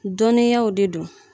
Dɔnniyaw de don